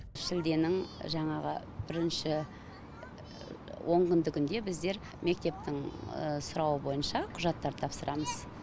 шілденің жаңағы бірінші онкүндігінде біздер мектептің сұрауы бойынша құжаттар тапсырамыз